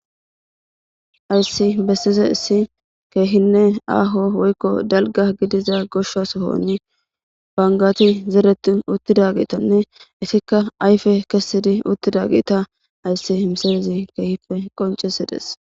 Ayssi bessize issi keehinne aaho woykko dalga gidiza gosha sohoni bangati zeretu uttida giitonne isikka ayfe kessidi uttida giita ayssi misayizi keehife qoncesides.